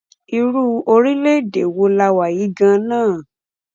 irú orílẹ-èdè wo la wà yìí gan-an náà